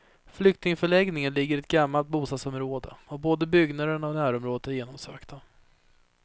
Flyktingförläggningen ligger i ett gammalt bostadsområde och både byggnaderna och närområdet är genomsökta.